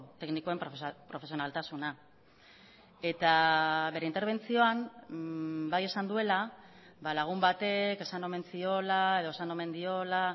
teknikoen profesionaltasuna eta bere interbentzioan bai esan duela lagun batek esan omen ziola edo esan omen diola